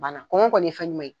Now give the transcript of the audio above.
Bana kɔngɔ kɔni ye fɛ ye.